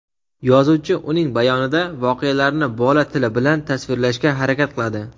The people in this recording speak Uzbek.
yozuvchi uning bayonida voqealarni bola tili bilan tasvirlashga harakat qiladi.